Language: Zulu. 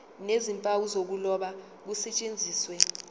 nezimpawu zokuloba kusetshenziswe